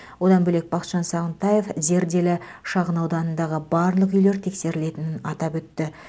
одан бөлек бақытжан сағынтаев зерделі шағынауданындағы барлық үйлер тексерілетінін атап өтті